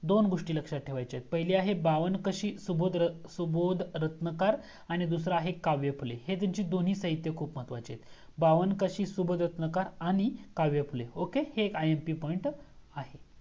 दोन गोस्टी लक्ष्यात ठेवायच्या आहेत पहिली आहे बावन्न काशी सुबोध सुबोध रत्नाकर आणि दूसरा आहे काव्य फुले हे त्यांची दोन्ही साहित्य खूप महत्वाची आहेत बावन्न काशी सुबोध रत्नाकर आणि काव्य फुले OKAY हे एक IMP POINT आहे